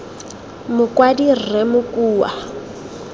mokwadi rre s s mokua